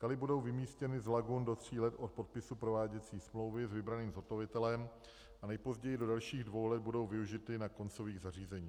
Kaly budou vymístěny z lagun do tří let od podpisu prováděcí smlouvy s vybraným zhotovitelem a nejpozději do dalších dvou let budou využity na koncových zařízeních.